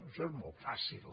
això és molt fàcil